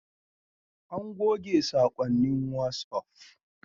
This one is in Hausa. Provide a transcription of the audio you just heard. An goge saƙonnin wasuf